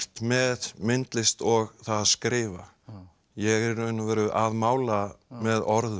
með myndlist og það að skrifa ég er í raun og veru að mála með orðum